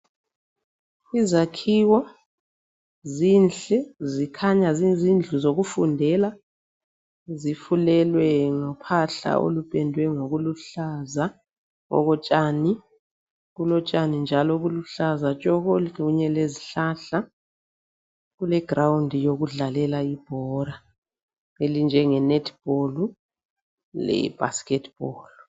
Izakhiwo zinhle zikhanya ziyizindlu zokufundela zifulelwe ngophahla olupendwe ngokuluhlaza okotshani, kulotshani njalo obuluhlaza tshoko, kunye lezihlahla, kule grawundi yokudlalela ibhora elinjenge nethibholu le bhaskethibholu.